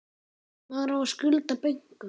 Maður á að skulda bönkum.